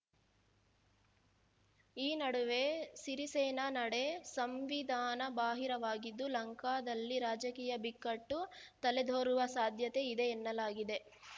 ಈ ನಡುವೆ ಸಿರಿಸೇನ ನಡೆ ಸಂವಿಧಾನಬಾಹಿರವಾಗಿದ್ದು ಲಂಕಾದಲ್ಲಿ ರಾಜಕೀಯ ಬಿಕ್ಕಟ್ಟು ತಲೆದೋರುವ ಸಾಧ್ಯತೆ ಇದೆ ಎನ್ನಲಾಗಿದೆ